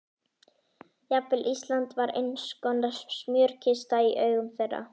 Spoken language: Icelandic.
Jafnvel Ísland var einskonar smjörkista í augum þeirra.